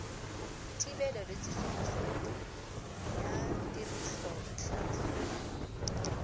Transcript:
thibelo le tsosoloso ya tirisobotlhaswa